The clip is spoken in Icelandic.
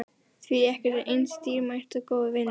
Því ekkert er eins dýrmætt og góðir vinir.